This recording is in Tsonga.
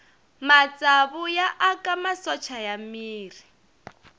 matsavu ya aka masocha ya miri